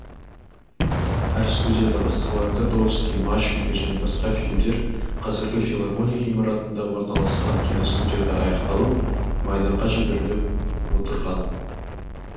әр студияда басталған котовский машенька және басқа фильмдер қазіргі филармония ғимаратында орналасқан киностудияда аяқталып майданға жіберіліп отырған